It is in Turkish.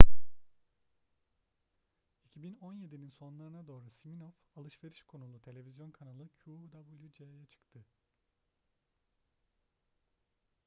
2017'nin sonlarına doğru siminoff alışveriş konulu televizyon kanalı qvc'ye çıktı